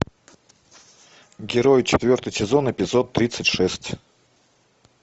герой четвертый сезон эпизод тридцать шесть